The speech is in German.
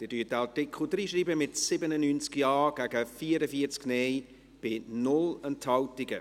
Sie schreiben diesen Artikel ins Gesetz, mit 97 Ja- gegen 44 Nein-Stimmen bei 0 Enthaltungen.